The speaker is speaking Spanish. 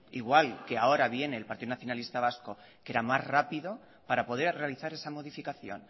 igual que ahora viene el partido nacionalista vasco que era más rápido para poder realizar esa modificación